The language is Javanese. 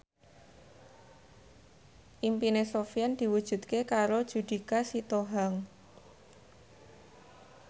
impine Sofyan diwujudke karo Judika Sitohang